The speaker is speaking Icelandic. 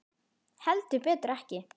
Heldur betur ekki.